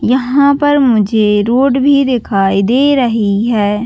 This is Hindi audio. यहाँ पर मुझे रोड भी दिखाई दे रही है।